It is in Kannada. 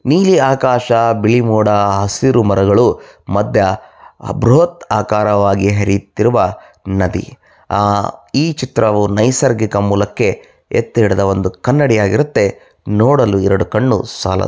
ನೀಲಿ ಆಕಾಶ ಬಿಳಿ ಮೋಡ ಹಸಿರು ಮರಗಳು ಮತ್ತು ಬೃಹತ್ ಆಕಾರವಾಗಿ ಹರಿಯುತ್ತಿರುವ ನದಿ ಆ ಈ ಚಿತ್ರವು ನೈಸರ್ಗಿಕ ಮೂಲಕ್ಕೆ ಎತ್ತಿಡದ ಒಂದು ಕನ್ನಡಿ ಆಗಿರುತ್ತದೆ ನೋಡಲು ಎರಡು ಕಣ್ಣು ಸಾಲದು.